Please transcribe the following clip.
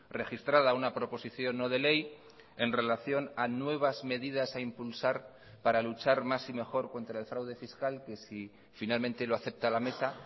registrada una proposición no de ley en relación a nuevas medidas a impulsar para luchar más y mejor contra el fraude fiscal que si finalmente lo acepta la mesa